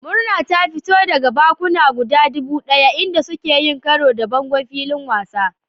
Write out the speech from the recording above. Murna ta fito daga bakuna guda dubu daya inda suka yi karo da bangon filin wasan.